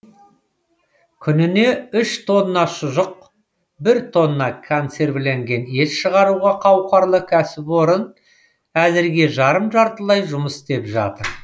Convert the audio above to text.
күніне үш тонна шұжық бір тонна консервіленген ет шығаруға қауқарлы кәсіпорын әзірге жарым жартылай жұмыс істеп тұр